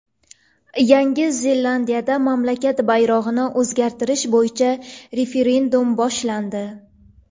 Yangi Zelandiyada mamlakat bayrog‘ini o‘zgartirish bo‘yicha referendum boshlandi.